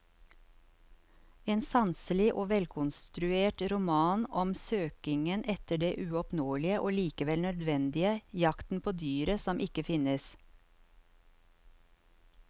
En sanselig og velkonstruert roman om søkingen etter det uoppnåelige og likevel nødvendige, jakten på dyret som ikke finnes.